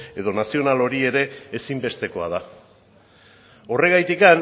edo nazional hori ere ezinbestekoa da horregatik